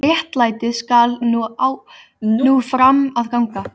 Réttlætið skal ná fram að ganga.